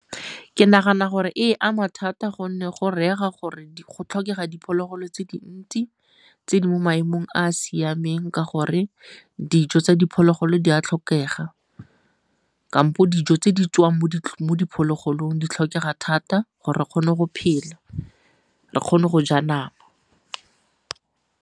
Ke nagana gore e ama thata gonne go reega gore go tlhokega diphologolo tse dintsi tse di mo maemong a a siameng ka gore dijo tsa diphologolo di a tlhokega, kampo dijo tse di tswang mo diphologolong di tlhokega thata gore re kgone go phela, re kgone go ja nama.